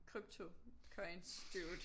Crypto coins dude